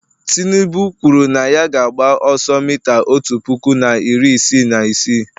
tinubu kwuru na ya ga-agba ọsọ mita otu puku na iri isii na isii